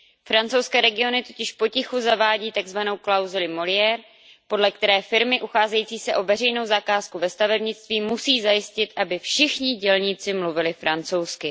Francouzské regiony totiž potichu zavádí takzvanou klauzuli Molière, podle které firmy ucházející se o veřejnou zakázku ve stavebnictví musí zajistit, aby všichni dělníci mluvili francouzsky.